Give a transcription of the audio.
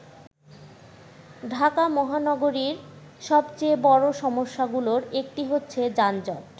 ঢাকা মহানগরীর সবচেয়ে বড় সমস্যা গুলোর একটি হচ্ছে যানজট।